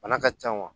Bana ka ca wa